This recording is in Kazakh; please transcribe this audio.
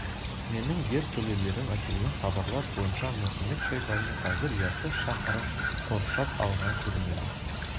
менің ертөлелерім әкелген хабарлар бойынша мұхамед-шайбани қазір яссы шаһарын қоршап алған көрінеді